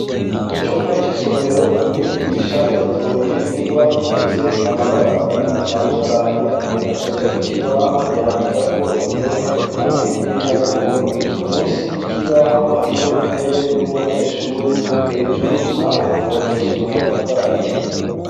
Mu cumba c'isomero umyigisha yatoye ingwa zifise amabara abiri atandukanye acaja ku kibaho yandika ko indome hamwe n'ibiharuro munsi y'ikibaho hariho intebe y'umunyeshure hejuru naho hubakishijwe amatafari ahiye.